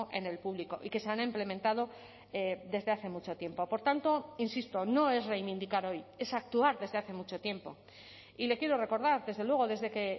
en el público y que se han implementado desde hace mucho tiempo por tanto insisto no es reivindicar hoy es actuar desde hace mucho tiempo y le quiero recordar desde luego desde que